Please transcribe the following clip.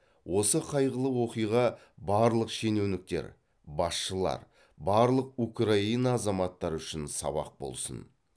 осы қайғылы оқиға барлық шенеуніктер басшылар барлық украина азаматтары үшін сабақ болсын